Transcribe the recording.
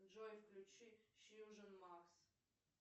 джой включи фьюжен макс